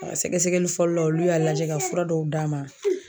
A ga sɛgɛsɛgɛli fɔlɔ la olu y'a lajɛ ka fura dɔw d'a ma